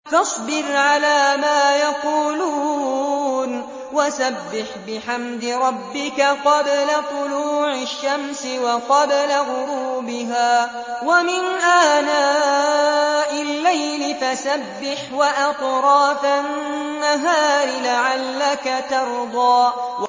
فَاصْبِرْ عَلَىٰ مَا يَقُولُونَ وَسَبِّحْ بِحَمْدِ رَبِّكَ قَبْلَ طُلُوعِ الشَّمْسِ وَقَبْلَ غُرُوبِهَا ۖ وَمِنْ آنَاءِ اللَّيْلِ فَسَبِّحْ وَأَطْرَافَ النَّهَارِ لَعَلَّكَ تَرْضَىٰ